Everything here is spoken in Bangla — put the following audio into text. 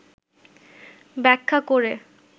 ব্যাখ্যা করে,